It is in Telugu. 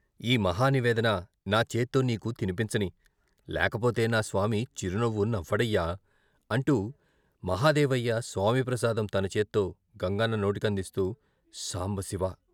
ఈ మహా నివేదన నా చేత్తో నీకు తినిపించనీ లేకపోతే నా స్వామి చిరునవ్వు నవ్వడయ్యా...." అంటూ మహదేవయ్య స్వామి ప్రసాదం తన చేత్తో గంగన్న నోటికందిస్తూ "సాంబశివా.....